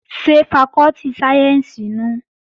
Ṣé fakọ́tì sáyẹ́ǹsì nùu?